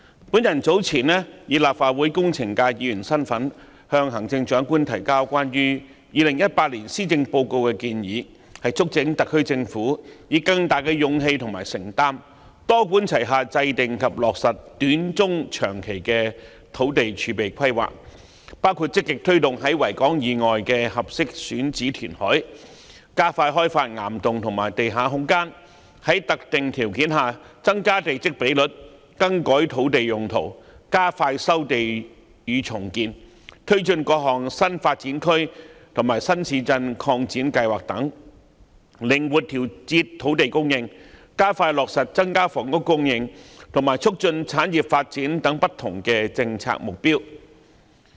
我早前以立法會工程界議員的身份，就2018年施政報告向行政長官提交建議，促請特區政府以更大勇氣和承擔，多管齊下制訂及落實短、中、長期的土地儲備規劃，包括積極推動在維多利亞港以外的合適選址填海、加快開發岩洞和地下空間、在特定條件下增加地積比率、更改土地用途、加快收地與重建、推進各項新發展區和新市鎮擴展計劃等、靈活調節土地供應、加快落實增加房屋供應，以及促進產業發展等不同政策目標。